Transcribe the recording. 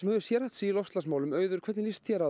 hefur sérhæft þig í loftslagsmálum hvernig lýst þér á